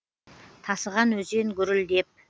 тасыған өзен гүрілдеп